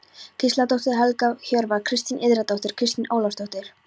Gísladóttir, Helga Hjörvar, Kristín Indriðadóttir, Kristín Ólafsdóttir